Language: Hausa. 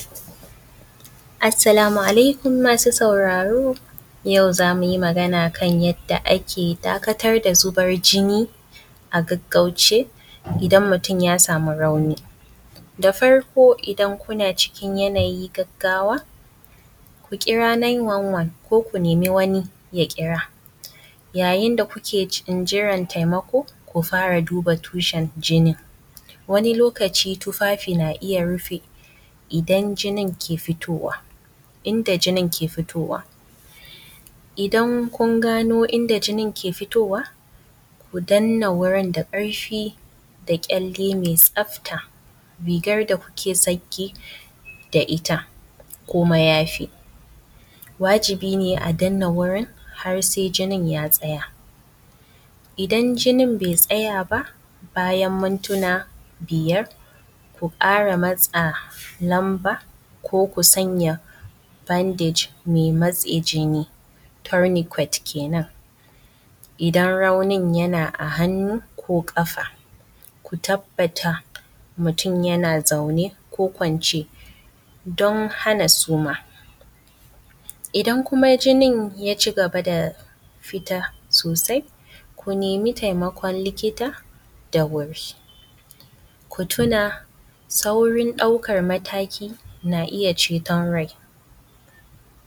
Assalamu alaikum asu sauraro yau za mu yi magana akan yadda ake dakatar da zuban jini agaggauce idan mutum ya samu rauni da farko idan kuna cikin yanayi gaggawa ku kira 911 ko ku nemi wani yakira yayin da kuke cikin jiran taimako ku fara duba tushen jinin wani lokaci tufafi na iya rufe idan jinin ke fitowa inda jinin ke fitowa idan kun gano inda jinin ke fitowa ku dannan wurin da ƙarfi da kyalle me tsafta rigar da kuke tsarki da ita kuma yafi wajibine a dannan wurin har se jinin ya tsaya. Idan jinin be tsaya ba bayan muntina biyar ku ƙara matse lamba ko ku sanya bandej me matse jini tauniqut kenan idan auni yana a hannu ko ƙafa ku tabbata mutum yana zaune ko kwance don hana suma idan kuma jinin ya cigaba da fita sosai ku nemi taimakon likita da wuri ku tuna saurin ɗaukan mmataki na iya cetan rai.